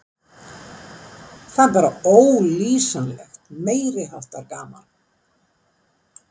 Það er bara ólýsanlegt, meiri háttar gaman.